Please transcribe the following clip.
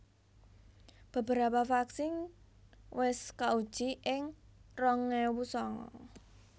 Beberapa vaksin wis kauji ing rong ewu sanga